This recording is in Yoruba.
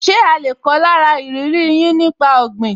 Ṣe a lè kọ́ lára ìrírí yín nípa ọ̀gbìn?